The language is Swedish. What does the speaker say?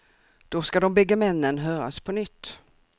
Då ska de bägge männen höras på nytt.